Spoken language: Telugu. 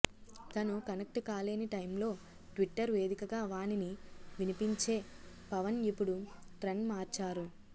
తను కనెక్ట్ కాలేని టైంలో ట్విట్టర్ వేదికగా వాణిని వినిపించే పవన్ ఇపుడు ట్రెండ్ మార్చారు